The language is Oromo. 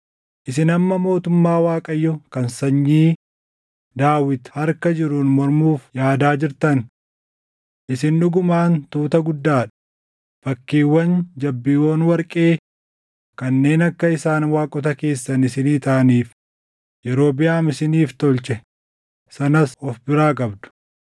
“Isin amma mootummaa Waaqayyoo kan sanyii Daawit harka jiruun mormuuf yaadaa jirtan. Isin dhugumaan tuuta guddaa dha; fakkiiwwan jabbiiwwan warqee kanneen akka isaan waaqota keessan isinii taʼaniif Yerobiʼaam isiniif tolche sanas of biraa qabdu.